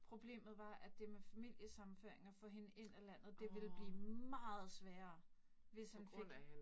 Problemet var, at det med familisammenføringer, få hende ind i landet, det ville blive meget sværere, hvis han fik